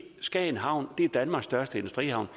skagen havn er danmarks største industrihavn